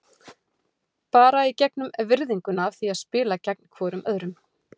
Bara í gegnum virðinguna af því að spila gegn hvorum öðrum.